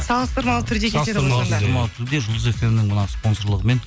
салыстырмалы түрде жұлдыз фм нің мына спонсорлығымен